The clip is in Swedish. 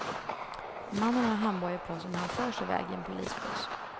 Mannen har handbojor på sig när han förs iväg i en polisbuss.